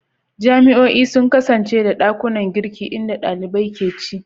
Jami'o'i sun kasance da ɗakunan girki inda ɗalibai ke ci.